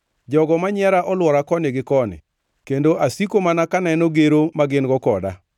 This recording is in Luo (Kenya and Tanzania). Jogo ma nyiera olwora koni gi koni; kendo asiko mana kaneno gero ma gin-go koda.